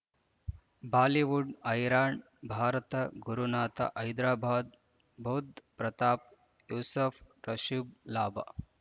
Bollywood ಹೈರಾಣ್ ಭಾರತ ಗುರುನಾಥ ಹೈದರಾಬಾದ್ ಬುಧ್ ಪ್ರತಾಪ್ ಯೂಸುಫ್ ರುಷಬ್ ಲಾಭ